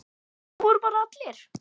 Það voru bara allir.